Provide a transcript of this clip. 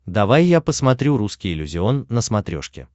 давай я посмотрю русский иллюзион на смотрешке